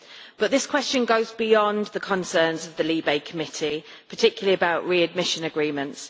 But this question goes beyond the concerns of the LIBE Committee, particularly about readmission agreements.